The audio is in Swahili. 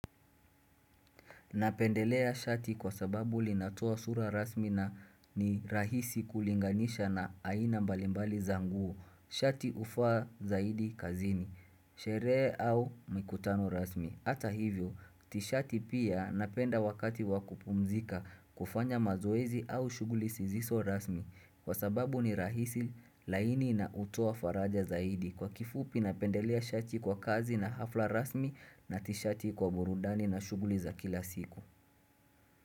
Napendelea shati kwa sababu linatoa sura rasmi na ni rahisi kulinganisha na aina mbalimbali za nguo, shati ufaa zaidi kazini, sherehe au mikutano rasmi Hata hivyo, tishati pia napenda wakati wakupumzika kufanya mazoezi au shughuli siziso rasmi Kwa sababu ni rahisi laini na hutoa faraja zaidi Kwa kifupi na pendelea shati kwa kazi na hafla rasmi na tishati kwa burudani na shughuli za kila siku.